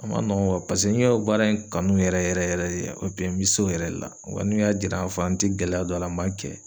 A ma nɔgɔn ,paseke ne ka baara in kanu yɛrɛ yɛrɛ yɛrɛ de n bi s'o yɛrɛ de la wa n kun y'a jira ka fɔ an tɛ gɛlɛya don a la n b'a kɛ